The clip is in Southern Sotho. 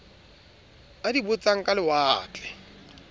a di botsang ka lewatle